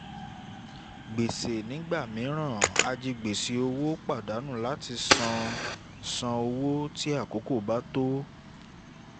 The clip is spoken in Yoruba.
gbèsè nígbà míràn ajigbèsè òwò pàdánù láti láti san owó tí àkókò bá tó